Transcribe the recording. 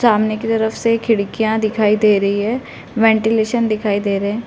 सामने की तरफ से खिडकियाँ दिखाई दे रही हैं। वेंटिलेशन दिखाई दे रहे हैं।